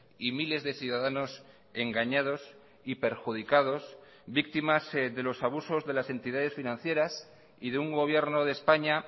y miles de ciudadanos engañados y perjudicados víctimas de los abusos de las entidades financieras y de un gobierno de españa